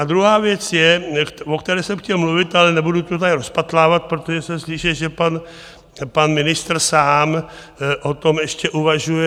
A druhá věc je, o které jsem chtěl mluvit, ale nebudu to tady rozpatlávat, protože jsem slyšel, že pan ministr sám o tom ještě uvažuje.